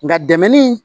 Nka dɛmɛni